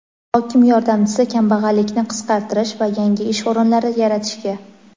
hokim yordamchisi kambag‘allikni qisqartirish va yangi ish o‘rinlari yaratishga;.